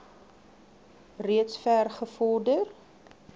reeds ver gevorder